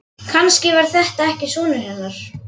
Kannski var þetta ekki sonur hennar.